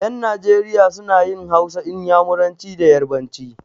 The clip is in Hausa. Ƴan Najeriya suna yin Hausa, Inyamuranci da yarabanci.